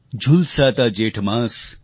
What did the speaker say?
झुलसाता जेठ मास